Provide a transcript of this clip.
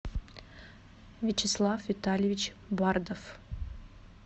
вячеслав витальевич бардов